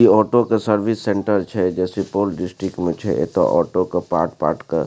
इ ऑटो के service centre छै जे सुपौल डिस्ट्रिक्ट में छै एता ऑटो के पार्ट पार्ट क --